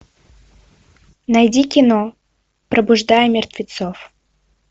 найди кино пробуждая мертвецов